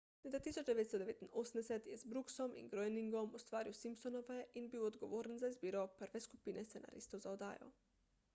leta 1989 je z brooksom in groeningom ustvaril simpsonove in bil odgovoren za izbiro prve skupine scenaristov za oddajo